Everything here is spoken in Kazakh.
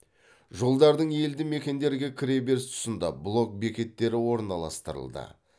жолдардың елді мекендерге кіре беріс тұсында блок бекеттері орналастырылды